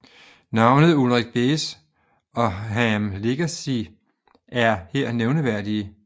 Navnlig Ulrich Bez og Harm Lagaay er her nævneværdige